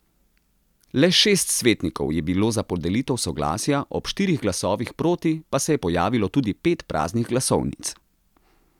Le šest svetnikov je bilo za podelitev soglasja, ob štirih glasovih proti pa se je pojavilo tudi pet praznih glasovnic.